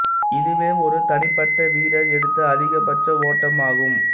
இதுவே ஒரு தனிப்பட்ட வீரர் எடுத்த அதிக பட்ச ஓட்டம் ஆகும்